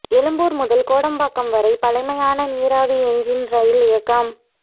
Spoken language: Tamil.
எழும்பூர் முதல் கோடம்பாக்கம் வரை பழைமையான நீராவி என்ஜின் ரெயில் இயக்கம்